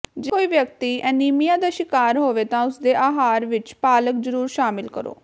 ਜੇ ਕੋਈ ਵਿਅਕਤੀ ਐਨੀਮੀਆ ਦਾ ਸ਼ਿਕਾਰ ਹੋਵੇ ਤਾਂ ਉਸਦੇ ਆਹਾਰ ਵਿਚ ਪਾਲਕ ਜ਼ਰੂਰ ਸ਼ਾਮਲ ਕਰੋ